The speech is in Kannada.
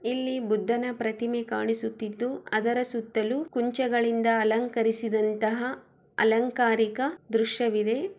ಇಲ್ಲಿ ಬುದ್ಧನ ಪ್ರತಿಮೆ ಕಾಣಿಸುತ್ತಿದ್ದು ಅದರ ಸುತ್ತಲೂ ಕುಂಚಗಳಿಂದ ಅಲಂಕರಿಸಿದಂತಹ ಅಲಂಕಾರಿಕ ದೃಶ್ಯವಿದೆ.